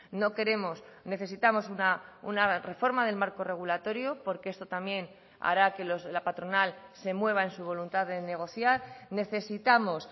no queremos necesitamos una reforma del marco regulatorio porque esto también hará que la patronal se mueva en su voluntad de negociar necesitamos